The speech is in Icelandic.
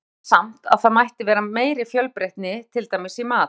Sumum finnst samt að það mætti vera meiri fjölbreytni, til dæmis í mat.